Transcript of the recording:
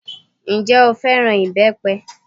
Ǹjẹ́ o fẹ́ràn ìbẹ́pẹ?